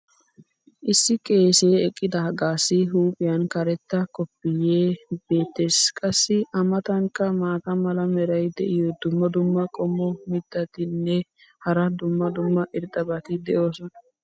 issi qeesee eqqidaagaassi huuphiyan karetta koppoyee beetees. qassi a matankka maata mala meray diyo dumma dumma qommo mitattinne hara dumma dumma irxxabati de'oosona.